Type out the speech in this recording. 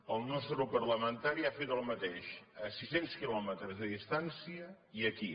el nostre grup parlamentari ha fet el mateix a sis cents quilòmetres de distància i aquí